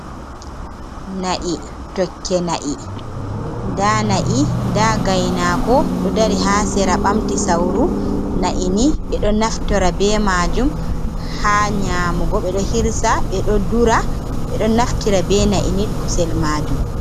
Na’i, tokke na’i, nda na’i nda gaynaako ɗo dari haa sera ɓamti sawru, na'i ni ɓe ɗo naftora bee maajum haa nyaamugo ɓe ɗo hirsa, ɓe ɗo dura, ɓe ɗo naftira bee na'i ni kusel maajum.